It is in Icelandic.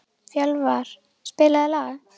Fjölvar, spilaðu lag.